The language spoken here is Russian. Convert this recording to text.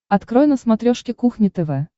открой на смотрешке кухня тв